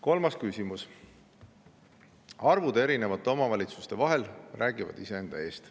Kolmas küsimus: "Arvud erinevate omavalitsuste vahel räägivad iseenda eest.